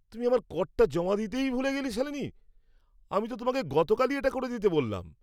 তুমি আমার করটা জমা দিতে ভুলেই গেলে, শালিনী? আমি তো তোমাকে গতকালই এটা করে দিতে বললাম!